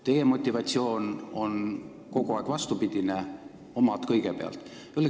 Teie motivatsioon on kogu aeg olnud vastupidine: omad kõigepealt.